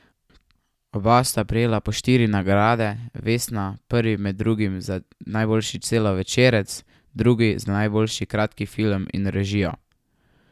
Oba sta prejela po štiri nagrade vesna, prvi med drugim za najboljši celovečerec, drugi za najboljši kratki film in režijo.